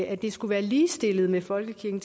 at de skulle være ligestillede med folkekirken